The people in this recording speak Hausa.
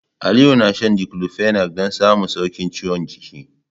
Aliyu na shan Diclofenac don samun sauƙin ciwon jiki.